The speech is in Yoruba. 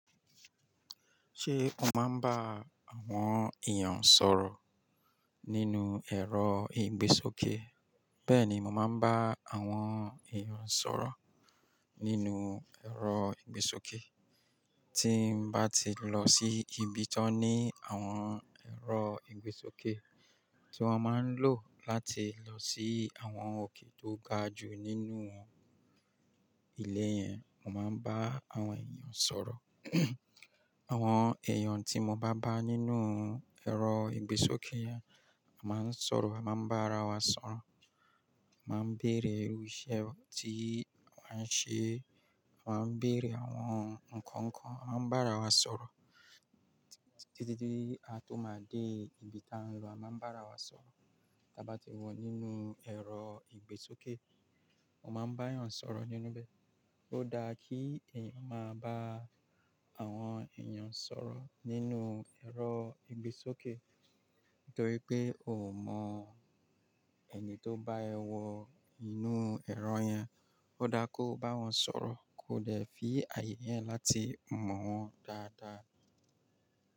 Ṣé o máa ń bá àwọn èèyàn sọ̀rọ̀ nínú ẹ̀rọ ìgbésókè? Bẹ́ẹ̀ni, mo máa ń bá àwọn èèyàn sọ̀rọ̀ nínú ẹ̀rọ ìgbésókè. Tí mo bá ti lọ sí ibi tó ní àwọn ẹ̀rọ ìgbésókè tí wọ́n máa ń lò láti lọ sí àwọn òkè tó ga jù nínú ilé yẹn, mo máa ń bá àwọn èèyàn sọ̀rọ̀. Àwọn èèyàn tí mo bá bá nínú ẹ̀rọ ìgbésókè yẹn, a máa ń sọ̀rọ̀, a máa ń bá ara wa sọ̀rọ̀, a máa ń bèrè irú iṣẹ́ tí wọ́n ń ṣe, a máa ń bèrè àwọn nǹkan kan, a máa ń bá ara wa sọ̀rọ̀. Títí di a tó máa dé ibi táa ń lọ, a máa ń bá ara wa sọ̀rọ̀. Da bá ti wọ nínú ẹ̀rọ ìgbésókè, o máa ń bá èèyàn sọ̀rọ̀ nínú bẹ. Ó dára kí èèyàn máa bá àwọn èèyàn sọ̀rọ̀ nínú ẹ̀rọ ìgbésókè, nítorí pé o ò mọ èni tó bá ẹ wọ inú ẹ̀rọ yẹn. Ó dára kó bá wọn sọ̀rọ̀ kó de fi àyè yẹn láti mọ̀ wọ́n dáadáa.